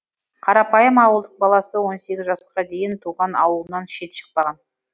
қарапайым ауылдың баласы он сегіз жасқа дейін туған ауылынан шет шықпаған